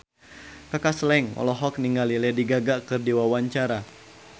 Kaka Slank olohok ningali Lady Gaga keur diwawancara